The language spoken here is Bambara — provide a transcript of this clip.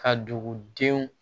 Ka dugudenw